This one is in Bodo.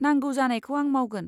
नांगौ जानायखौ आं मावगोन।